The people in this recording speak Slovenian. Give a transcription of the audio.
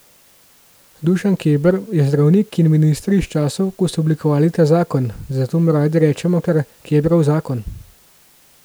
Dušan Keber je zdravnik in minister iz časov, ko so oblikovali ta zakon, zato mu radi rečemo kar Kebrov zakon.